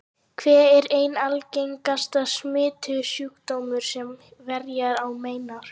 Kvef er einn algengasti smitsjúkdómurinn sem herjar á mennina.